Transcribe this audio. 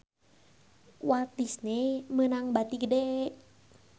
Walt Disney meunang bati gede